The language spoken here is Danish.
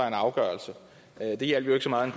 en afgørelse det hjalp jo ikke så meget i